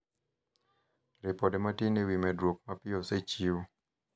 ripode matin ewi medruok mapiyo osechiw